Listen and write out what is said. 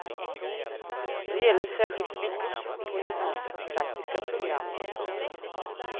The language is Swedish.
Det gäller särskilt flickor på gymnasiets praktiska program. punkt